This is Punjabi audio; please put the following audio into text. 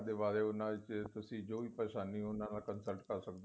ਅੱਖਾਂ ਬਾਰੇ ਉਹਨਾ ਚ ਤੁਸੀਂ ਜੋ ਵੀ ਪਰੇਸ਼ਾਨੀ ਉਹਨਾ ਨਾਲ consult ਕਰ ਸਕਦੇ ਹੋ